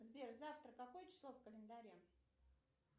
сбер завтра какое число в календаре